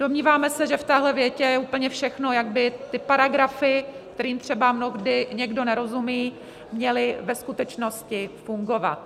Domníváme se, že v téhle větě je úplně všechno, jak by ty paragrafy, kterým třeba mnohdy někdo nerozumí, měly ve skutečnosti fungovat.